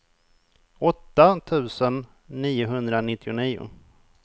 åtta tusen niohundranittionio